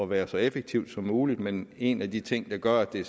være så effektivt som muligt men en af de ting der gør at det